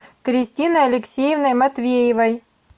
кристиной алексеевной матвеевой